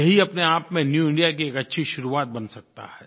यही अपने आप में न्यू इंडिया की एक अच्छी शुरुआत बन सकता है